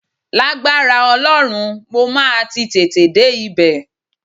Lágbára Ọlọ́run, mo máa ti tètè dé ibẹ̀